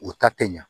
U ta te ɲa